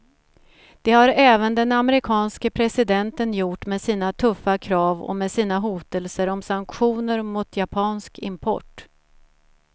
Det har även den amerikanske presidenten gjort med sina tuffa krav och med sina hotelser om sanktioner mot japansk import.